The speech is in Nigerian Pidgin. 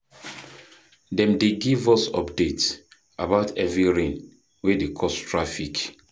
Dem dey give us updates about heavy rain wey dey cause traffic.